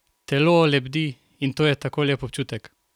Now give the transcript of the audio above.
Telo lebdi in to je tako lep občutek!